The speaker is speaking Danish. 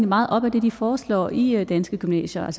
meget op ad det de foreslår i i danske gymnasier